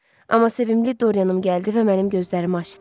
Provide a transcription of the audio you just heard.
Amma sevimli Dorianım gəldi və mənim gözlərimi açdı.